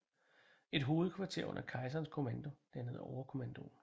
Et hovedkvarter under kejserens kommando dannede overkommandoen